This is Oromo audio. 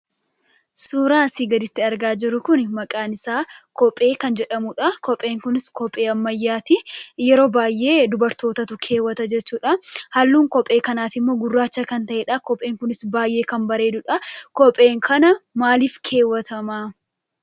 Suuraan asii gaditti argaa jirru kun maqaan isaa kophee kan jedhamudha. Kopheen kunis kophee ammayyaati. Yeroo baay'ee dubartootatu keewwata jechuudha. Haallun kophee kanaas gurraacha kan ta'edha. Kopheen kunis baay'ee kan bareedudha. Kopheen kun maalif keewwatama?